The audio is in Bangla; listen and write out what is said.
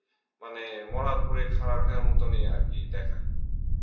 মানে মরার ওপরে খারার ঘায়ের মতন এ দেখায়